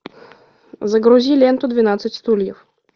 загрузи ленту двенадцать стульев